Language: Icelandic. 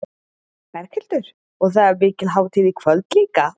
Berghildur: Og það er mikil hátíð í kvöld líka?